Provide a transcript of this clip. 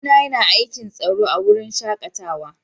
Kawu na ya na aikin tsaro a'wurin shakatawan.